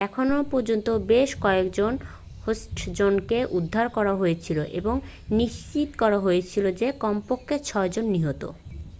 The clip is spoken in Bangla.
এখনও পর্যন্ত বেশ কয়েকজন হোস্টেজকে উদ্ধার করা হয়েছে এবং নিশ্চিত করা হয়েছে যে কমপক্ষে ছয়জন নিহত